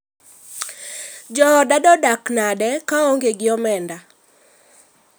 Jooda do dak nade ka aonge gii omenda?